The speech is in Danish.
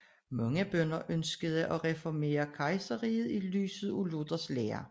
Mange bønder ønskede at reformere kejserriget i lyset af Luthers lære